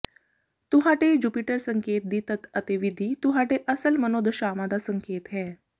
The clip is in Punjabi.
ਤੁਹਾਡੇ ਜੁਪੀਟਰ ਸੰਕੇਤ ਦੀ ਤੱਤ ਅਤੇ ਵਿਧੀ ਤੁਹਾਡੇ ਅਸਲ ਮਨੋਦਸ਼ਾਵਾਂ ਦਾ ਸੰਕੇਤ ਹੈ